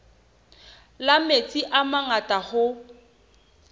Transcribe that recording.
la metsi a mangata hoo